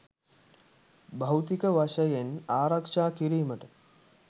භෞතික වශයෙන් ආරක්‍ෂා කිරීමට